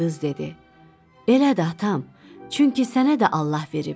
Qız dedi: Elədir atam, çünki sənə də Allah verib.